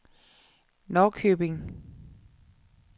Norrköping